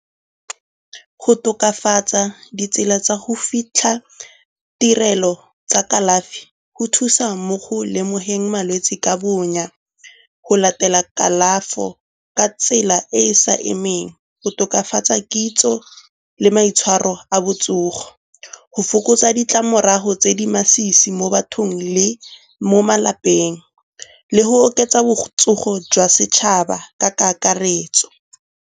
Go tokafatsa ditsela tsa go fitlha tirelo tsa kalafi go thusa mo go lemogeng malwetse ka bonya, go latela kalafo ka tsela e e sa emeng, go tokafatsa kitso le maitshwaro a botsogo, go fokotsa ditlamorago tse di masisi mo bathong le mo malapeng, le go oketsa botsogo jwa setšhaba ka kakaretso.